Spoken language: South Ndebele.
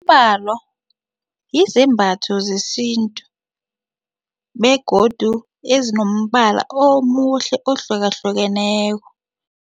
Umbalo yizembatho zesintu begodu ezinombala omuhle ohlukahlukeneko.